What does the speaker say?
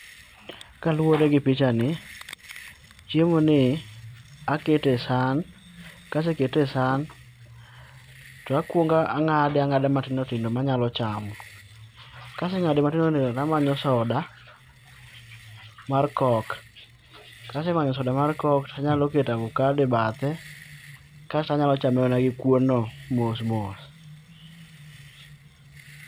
Kaluwore gi picha ni, chiemo ni akete e san, kasekete e san, to akuongo ang'ade ang'ade matindo tindo ma anyalo chamo. Kaseng'ade matindo tindo tamanyo soda mar coke. Kasemanyo soda mar coke tanyalo keto avocado e bathe, kasto anyalo chame mana gi kuon no mos mos.